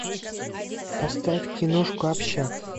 поставь киношку общак